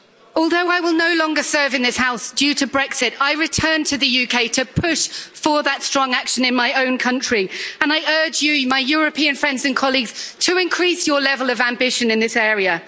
Although I will no longer serve in this House due to Brexit, I return to the UK to push for that strong action in my own country and I urge you, my European friends and colleagues, to increase your level of ambition in this area.